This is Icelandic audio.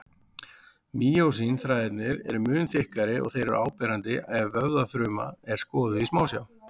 Mýósín-þræðirnir eru mun þykkari og þeir eru áberandi ef vöðvafruma er skoðuð í smásjá.